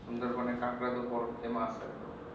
সুন্দরবন এ কাঁকড়া তো বড় famous একদম